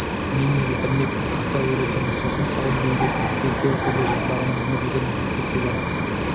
мен не бітірмекпін асау үйретемін сосын сауын биеге тиіспей кер төбел жабағыны мініп жүремін мектепке барып